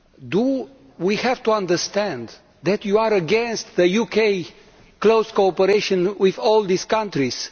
Do we have to understand that you are against the UK's close cooperation with all these countries?